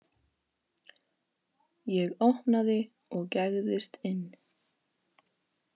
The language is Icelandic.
Ég opnaði og gægðist inn.